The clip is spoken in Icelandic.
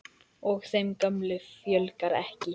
Og þeim gömlu fjölgar ekki.